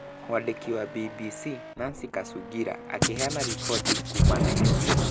Mwandiki wa BBC Nancy Kacungira akĩheana riboti kuuma Nairobi.